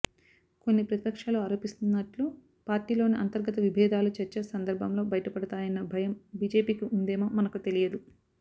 కొన్ని ప్రతిపక్షాలు ఆరోపిస్తున్నట్లు పార్టీలోని అంతర్గత విభేదాలు చర్చ సందర్భంలో బయటపడతాయన్న భయం బిజెపికి ఉందేమో మనకు తెలియదు